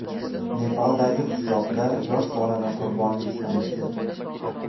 Nepaldagi qishloqda yosh bolani qurbonlik qilishdi.